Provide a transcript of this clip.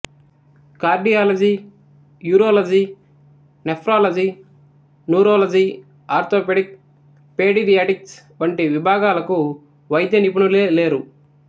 cardiology urology nephrology neurology orthopaedic paediatrics వంటి విభాగాలకు వైద్యానిపుణులే లేరు